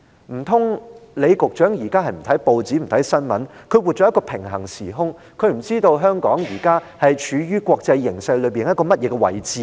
難道李局長現時不看報章、不看新聞，活在一個平衡時空，不知道香港現時處於何種國際形勢和位置嗎？